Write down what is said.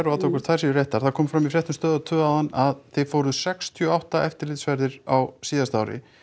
og athuga hvort þær séu réttar það kom fram í fréttum Stöðvar tvo áðan að þið fóruð sextíu og átta eftirlitsferðir á síðasta ári